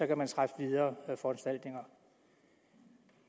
kan man træffe videre foranstaltninger